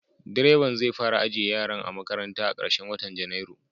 Direban zai fara ajiye yaran a makaranta a karshen watan Janairu.